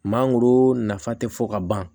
Mangoro nafa tɛ fɔ ka ban